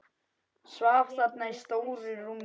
Svaf þarna í stóru rúminu.